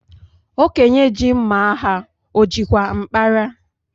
Okenye ji mma agha o jikwa mkpara?